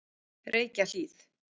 Reykjahlíð